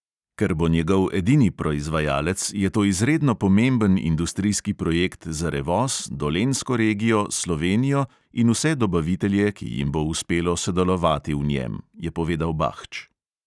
"Ker bo njegov edini proizvajalec, je to izredno pomemben industrijski projekt za revoz, dolenjsko regijo, slovenijo in vse dobavitelje, ki jim bo uspelo sodelovati v njem," je povedal bahč.